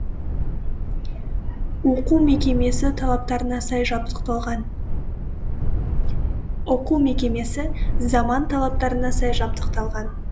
оқу мекемесі заман талаптарына сай жабдықталған